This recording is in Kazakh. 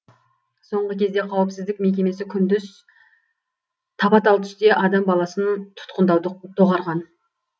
соңғы кезде қауіпсіздік мекемесі күндіз тапа тал түсте адам баласын тұтқындауды доғарған